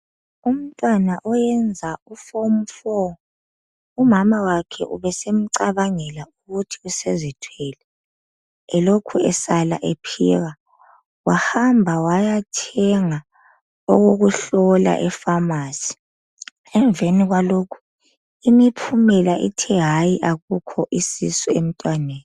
Umntwana oyenza uForm 4,umama wakhe ubesemcabangela ukuthi usezithwele elokhu esala ephika. Wahamba wayathenga okokuhlola ePharmacy. Emveni kwalokho imiphumela ithe hayi akukho isisu emtwaneni.